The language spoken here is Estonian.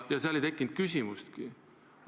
Seal ei tekkinud küsimustki.